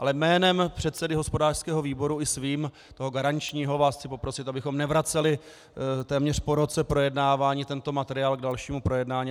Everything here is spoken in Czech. Ale jménem předsedy hospodářského výboru i svým, toho garančního, vás chci poprosit, abychom nevraceli téměř po roce projednávání tento materiál k dalšímu projednání.